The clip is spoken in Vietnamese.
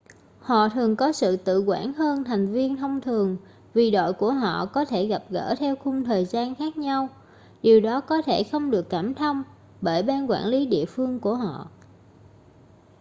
họ thường có sự tự quản hơn thành viên thông thường vì đội của họ có thể gặp gỡ theo khung thời gian khác nhau điều có thể không được cảm thông bởi ban quản lý địa phương của họ